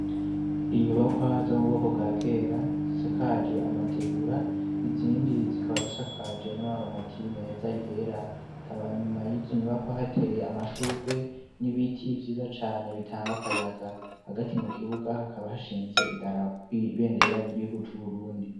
Inyubakwa zo mu bwoko bwa kera isakaje amategura izindi zikaba zisakaje n'amabati meza yera ikaba nyuma yizo nyubako hateye amashugwe n'ibiti vyiza cane bitanga akayaga hagati mu kibuga hakaba hashinze idarapo ibendera ry'igihugu c'uburundi.